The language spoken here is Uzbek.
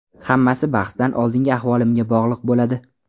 Hammasi bahsdan oldingi ahvolimga bog‘liq bo‘ladi.